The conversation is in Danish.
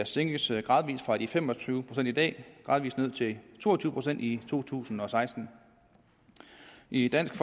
sænkes gradvis fra de fem og tyve procent i dag ned til to og tyve procent i to tusind og seksten i dansk